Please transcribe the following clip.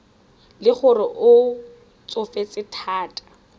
le gore o tsofetse thata